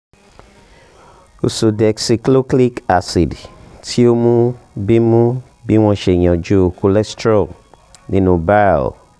ursodeoxycholic acid ti o mu bi mu bi wọn ṣe yanju cholesterol ninu bile